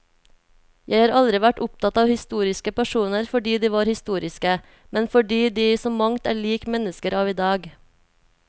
Jeg har aldri vært opptatt av historiske personer fordi de var historiske, men fordi de i så mangt er lik mennesker av i dag.